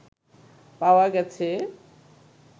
পাওয়া গেছে